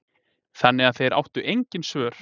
Þannig að þeir áttu engin svör.